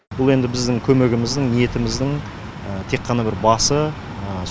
бұл енді біздің көмегіміздің ниетіміздің тек қана бір басы